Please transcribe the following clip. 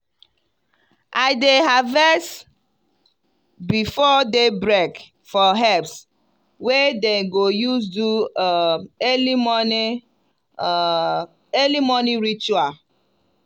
i dey harvest before day break for herbs wey dem go use do um early morning um early morning ritual.